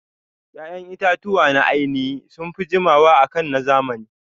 Ƴaƴan itatuwa na ainihi sunfi jiwama akan na zamani